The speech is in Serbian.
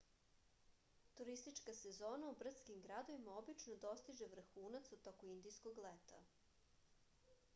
turistička sezona u brdskim gradovima obično dostiže vrhunac u toku indijskog leta